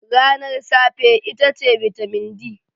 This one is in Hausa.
Ranar safe itace bitamin D.